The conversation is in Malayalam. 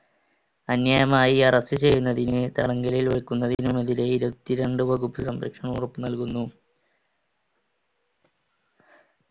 അന്യായമായി arrest ചെയ്യുന്നതിനെ തടങ്കലിൽ വെക്കുന്നതിനുമെതിരെ ഇരുപത്തിരണ്ട് വകുപ്പ് സംരക്ഷണം ഉറപ്പുനൽകുന്നു.